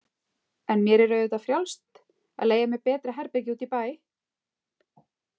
En mér er auðvitað frjálst að leigja mér betra herbergi úti í bæ.